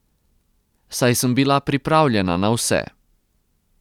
Saj sem bila pripravljena na vse.